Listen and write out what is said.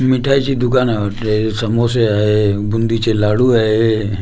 मिठाईचे दुकान आहे वाटतं हे समोसे आहे बुंदीचे लाडू आहे.